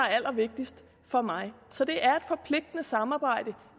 er allervigtigst for mig så det er et forpligtende samarbejde